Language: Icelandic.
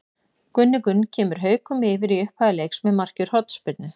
Gunni Gunn kemur Haukum yfir í upphafi leiks með marki úr hornspyrnu.